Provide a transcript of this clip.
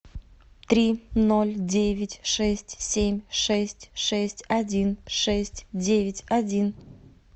три ноль девять шесть семь шесть шесть один шесть девять один